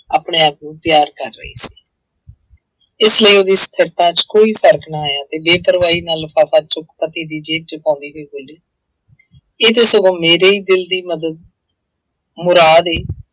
ਆਪਣੇ ਆਪ ਨੂੰ ਤਿਆਰ ਕਰ ਰਹੀ ਸੀ ਇਸ ਲਈ ਉਹਦੀ ਸਥਿਰਤਾ ਚ ਕੋਈ ਫ਼ਰਕ ਨਾ ਆਇਆ ਤੇ ਬੇਪਰਵਾਹੀ ਨਾਲ ਲਿਫ਼ਾਫ਼ਾ ਚੁੱਕ ਪਤੀ ਦੀ ਜੇਬ ਚ ਪਾਉਂਦੀ ਹੋਈ ਬੋਲੀ ਇਹ ਤੇ ਸਗੋਂ ਮੇਰੇ ਹੀ ਦਿਲ ਦੀ ਮਦਦ ਮੁਰਾਦ ਹੈ